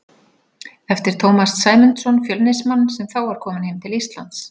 eftir Tómas Sæmundsson, Fjölnismann, sem þá var kominn heim til Íslands.